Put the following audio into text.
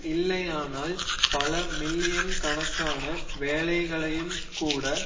இல்லையானால் பல மில்லியன் கணக்கான வேலைகளையும் கூட